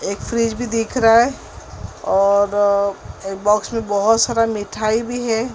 एक फ्रिज भी देख रहा है और एक बॉक्स में बहोत सारा मीठाई भी है।